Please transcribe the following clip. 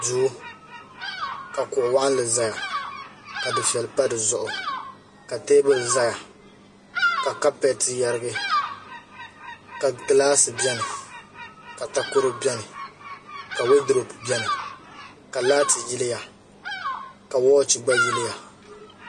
do ka kuɣ' walinli zaya ka duƒɛli pa di zuɣ' ka tɛbuli zaya ka kapɛtɛ yarigi ka gilasi bɛnika takoro bɛni ka waduropɛ bɛni ka laati yiliya ka wachi gba yɛliya